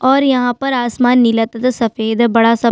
और यहाँ आसमान नीला तथा सफ़ेद है बड़ा-सा--